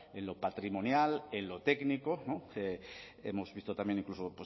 en lo patrimonial en lo técnico no hemos visto también incluso